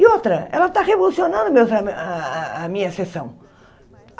E outra, ela está revolucionando o meu tra a a a minha sessão.